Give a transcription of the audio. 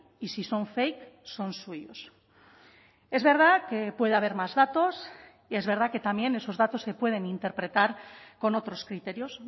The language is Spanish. y si son fake son suyos es verdad que puede haber más datos y es verdad que también esos datos se pueden interpretar con otros criterios